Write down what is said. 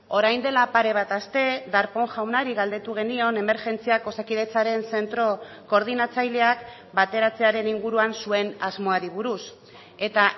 orain dela pare bat aste darpón jaunari galdetu genion emergentziak osakidetzaren zentro koordinatzaileak bateratzearen inguruan zuen asmoari buruz eta